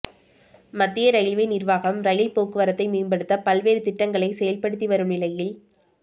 மத்திய ரயில்வே நிா்வாகம் ரயில் போக்குவரத்தை மேம்படுத்த பல்வேறு திட்டங்களை செயல்படுத்திவரும் நிலையில்